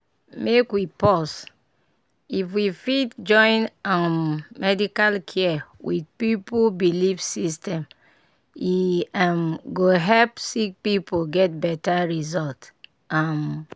make we pause! if we fit join um medical care with pipu belief system e um go help sick pipu get better result. um